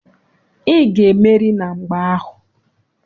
Ị ga-emeri na mgba ahụ!